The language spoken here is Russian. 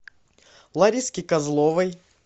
лариске козловой